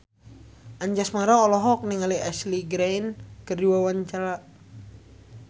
Anjasmara olohok ningali Ashley Greene keur diwawancara